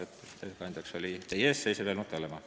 Ettekandjaks määrati teie ees seisev Helmut Hallemaa.